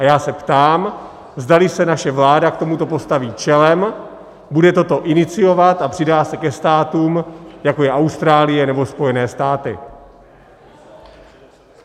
A já se ptám, zdali se naše vláda k tomuto postaví čelem, bude toto iniciovat a přidá se ke státům, jako je Austrálie nebo Spojené státy.